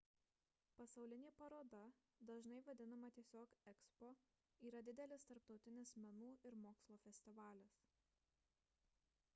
pasaulinė paroda dažnai vadinama tiesiog ekspo yra didelis tarptautinis menų ir mokslo festivalis